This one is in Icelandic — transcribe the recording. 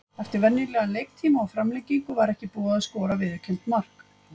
Eftir venjulegan leiktíma, og framlengingu var ekki búið að skora viðurkennt mark.